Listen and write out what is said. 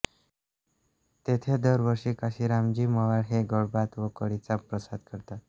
तेथे दरवर्षी काशीराम जी मवाळ हे गोडभात व कढीचा प्रसाद करतात